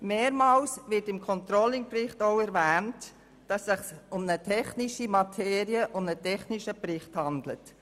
Mehrmals wird im Controlling-Bericht auch darauf hingewiesen, dass es sich um eine technische Materie und einen technischen Bericht handelt.